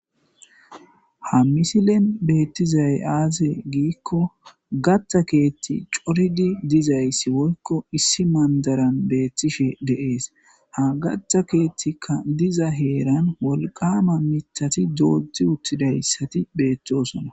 Ha misilen betizay aze gikon gata keethi coridi dizaysi woylo issi mandaran betishe de'es ha gata keethika diza heeran wolqama mithati dodi uttidaysati beetosona